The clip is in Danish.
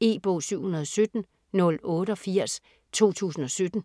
E-bog 717088 2017.